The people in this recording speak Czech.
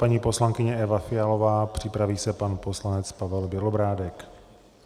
Paní poslankyně Eva Fialová, připraví se pan poslanec Pavel Bělobrádek.